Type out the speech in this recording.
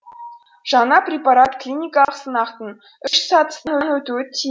жаңа препарат клиникалық сынақтың үш сатысынан өтуі